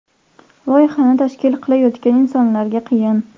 Loyihani tashkil qilayotgan insonlarga qiyin.